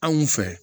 Anw fɛ